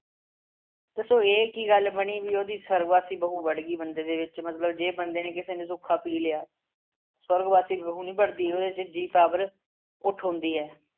ਦੱਸੋ ਇਹ ਕੀ ਗੱਲ ਬਣੀ ਬਈ ਉਹਦੀ ਸਵਰਗਵਾਸੀ ਬਹੂ ਵੜ੍ਹ ਗਈ ਬੰਦੇ ਦੇ ਵਿੱਚ ਮਤਲਬ ਜੇ ਬੰਦੇ ਨੇ ਕਿਸੇ ਨੇ ਸੁੱਖਾ ਪੀ ਲਿਆ, ਸਵਰਗਵਾਸੀ ਬਹੂ ਨਹੀਂ ਵੜ੍ਹਦੀ ਉਹਦੇ ਚ ਜੀਅ power ਉੱਠ ਹੁੰਦੀ ਹੈ।